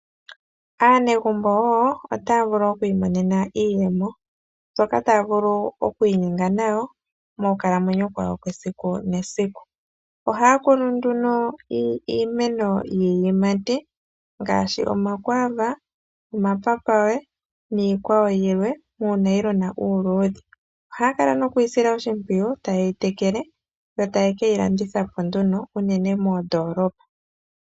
Aanegumbo wo ota vulu oku imonena iiyemo mbyoka taya vulu oku inyenga nayo monkalamwenyo yesiku kehe. Oha kunu nduno iimeno yiimati ngaashi omakwava, omapapawe niikwawo yilwe muunayilona uuludhe. Oha ya kala nokuyi sila oshimpwiyu tayeyi tekele yo tayeyi landitha po nduno unene tuu moondolopa.